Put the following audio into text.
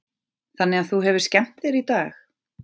Þannig að þú hefur skemmt þér í dag?